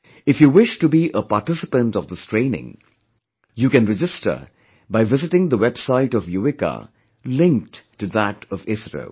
If you wish to be a participant of this training, you can register by visiting the website of 'Yuvika' linked to that of ISRO